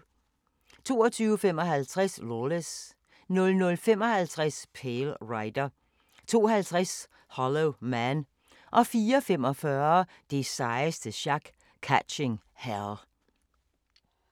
22:55: Lawless 00:55: Pale Rider 02:50: Hollow Man 04:45: Det sejeste sjak - Catching Hell